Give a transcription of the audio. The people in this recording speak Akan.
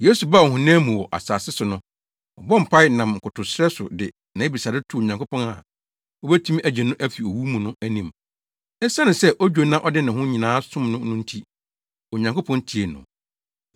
Yesu baa ɔhonam mu wɔ asase so no, ɔbɔɔ mpae nam nkotosrɛ so de nʼabisade too Onyankopɔn a obetumi agye no afi owu mu no anim. Esiane sɛ odwo na ɔde ne ho nyinaa som no no nti, Onyankopɔn tiee no.